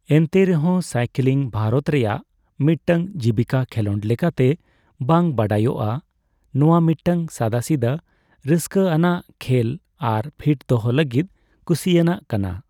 ᱮᱱᱛᱮ ᱨᱮᱦᱚᱸ ᱥᱟᱭᱠᱤᱞᱤᱝ ᱵᱷᱟᱨᱚᱛ ᱨᱮᱭᱟᱜ ᱢᱤᱫᱴᱟᱝ ᱡᱤᱵᱠᱤᱠᱟ ᱠᱷᱮᱞᱳᱰ ᱞᱮᱠᱟᱛᱮ ᱵᱟᱝ ᱵᱟᱰᱟᱭᱟᱜᱼᱟ, ᱱᱚᱣᱟ ᱢᱤᱫᱴᱟᱝ ᱥᱟᱫᱟᱥᱤᱫᱟᱹ ᱨᱟᱥᱠᱟᱹᱟᱱᱟᱟᱜ ᱠᱷᱮᱭ ᱟᱨ ᱯᱷᱤᱴ ᱫᱚᱦᱚ ᱞᱟᱹᱜᱤᱫ ᱠᱩᱥᱤᱭᱟᱱᱟᱜ ᱠᱟᱱᱟ ᱾